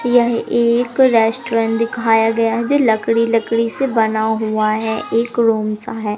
यह एक रेस्टोरेंट दिखाया गया है जो लकड़ी लकड़ी से बना हुआ है एक रूम सा है।